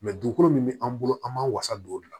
dugukolo min bɛ an bolo an b'an wasa don o de la